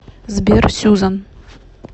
сбер сюзан